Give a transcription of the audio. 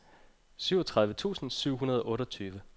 syvogtredive tusind syv hundrede og otteogtyve